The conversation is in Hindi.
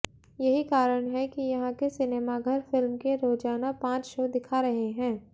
यही कारण है कि यहां के सिनेमाघर फिल्म के रोजाना पांच शो दिखा रहे हैं